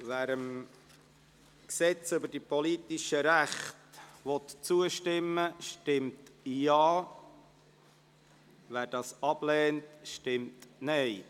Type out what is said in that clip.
Wer dem GRP zustimmen will, stimmt Ja, wer dieses ablehnt, stimmt Nein.